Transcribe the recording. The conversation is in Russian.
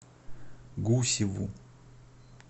гусеву